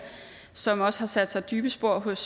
som også har sat sig dybe spor hos